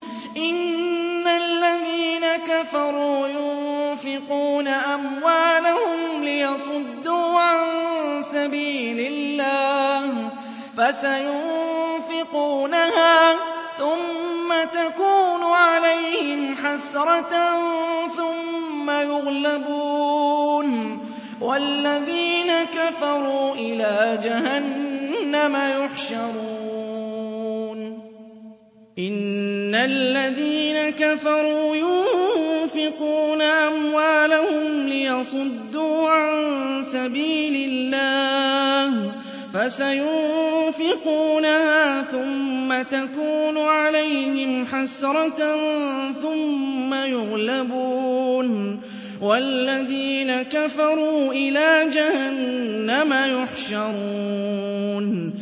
إِنَّ الَّذِينَ كَفَرُوا يُنفِقُونَ أَمْوَالَهُمْ لِيَصُدُّوا عَن سَبِيلِ اللَّهِ ۚ فَسَيُنفِقُونَهَا ثُمَّ تَكُونُ عَلَيْهِمْ حَسْرَةً ثُمَّ يُغْلَبُونَ ۗ وَالَّذِينَ كَفَرُوا إِلَىٰ جَهَنَّمَ يُحْشَرُونَ